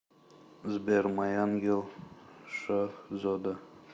сбер май ангел шазода